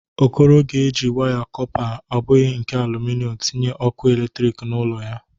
Okoro ga-eji waya kọpa, ọ bụghi nke alụmịnọm, tinye ọkụ eletriki n'ụlọ ya.